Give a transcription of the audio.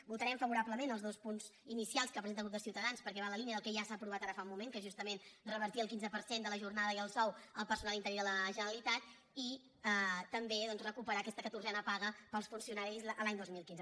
votarem favorablement als dos punts inicials que pre·senta el grup de ciutadans perquè van en la línia del que ja s’ha aprovat ara fa un moment que és justa·ment revertir el quinze per cent de la jornada i el sou al personal interí de la generalitat i també doncs recu·perar aquesta catorzena paga per als funcionaris l’any dos mil quinze